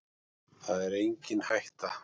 Það er engin hætta